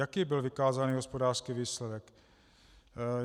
Jaký byl vykázaný hospodářský výsledek?